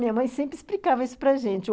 Minha mãe sempre explicava isso para gente.